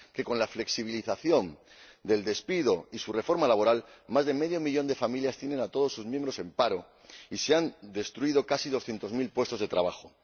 que con la flexibilización del despido y su reforma laboral más de medio millón de familias tienen a todos sus miembros en paro y se han destruido casi doscientos mil puestos de trabajo.